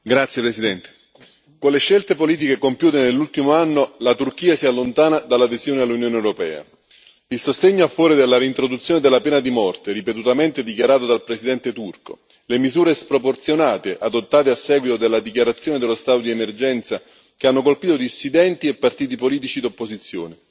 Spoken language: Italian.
Signor Presidente, onorevoli colleghi, con le scelte politiche compiute nell'ultimo anno, la Turchia si allontana dall'adesione all'Unione europea. Il sostegno a favore della reintroduzione della pena di morte, ripetutamente dichiarato dal presidente turco, le misure sproporzionate adottate a seguito della dichiarazione dello stato di emergenza, che hanno colpito dissidenti e partiti politici d'opposizione,